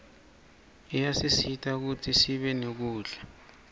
iyasisita kutsisibe nekudla